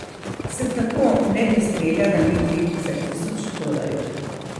S tako ne bi streljala niti za tisoč dolarjev.